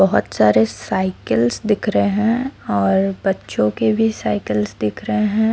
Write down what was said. बहोत सारे साइकिल्स दिख रहे हैं और बच्चों के भी साइकिल्स दिख रहे हैं।